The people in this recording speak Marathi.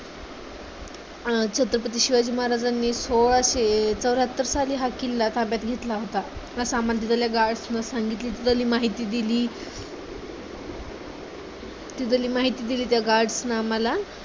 अं छत्रपती शिवाजी महाराजांनी सोळाशे चौऱ्हात्तर साली हा किल्ला ताब्यात घेतला होता. अस आम्हाला तिथल्या guards ने सांगितलं तिथली माहिती दिली, तिथली माहिती दिली त्या guards नं आम्हाला